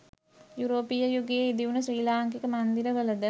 යුරෝපීය යුගයේ ඉදිවුණ ශ්‍රී ලාංකික මන්දිරවලද